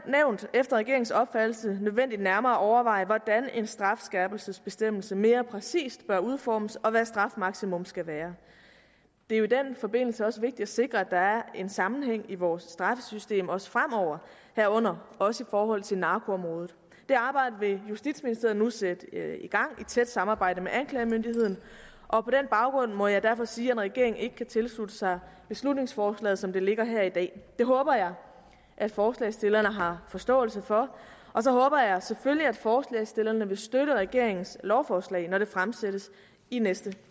efter regeringens opfattelse nødvendigt nærmere at overveje hvordan en strafskærpelsesbestemmelse mere præcist bør udformes og hvad strafmaksimum skal være det er jo i den forbindelse også vigtigt at sikre at der er en sammenhæng i vores straffesystem også fremover herunder også i forhold til narkoområdet det arbejde vil justitsministeriet nu sætte i gang i tæt samarbejde med anklagemyndigheden og på den baggrund må jeg derfor sige at regeringen ikke kan tilslutte sig beslutningsforslaget som det ligger her i dag det håber jeg at forslagsstillerne har forståelse for og så håber jeg selvfølgelig at forslagsstillerne vil støtte regeringens lovforslag når det fremsættes i næste